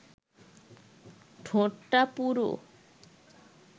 ঠোঁটটা পুরু